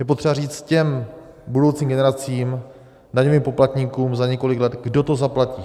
Je potřeba říct těm budoucím generacím, daňovým poplatníkům za několik let, kdo to zaplatí.